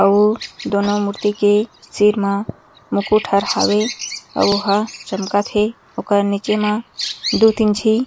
अउ दोनों मूर्ति के सिर मा मुकुट हर हवे अउ वो ह चमकत हे अउर ओकर नीचे मा दू तीन झी --